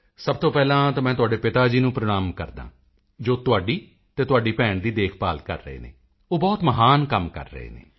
ਸਭ ਤੋਂ ਪਹਿਲਾਂ ਮੈਂ ਤੁਹਾਡੇ ਪਿਤਾ ਜੀ ਨੂੰ ਪ੍ਰਣਾਮ ਕਰਦਾ ਹਾਂ ਜੋ ਤੁਹਾਡੀ ਅਤੇ ਤੁਹਾਡੀ ਭੈਣ ਦੀ ਦੇਖਭਾਲ ਕਰ ਰਹੇ ਹਨ ਉਹ ਬਹੁਤ ਮਹਾਨ ਕੰਮ ਕਰ ਰਹੇ ਹਨ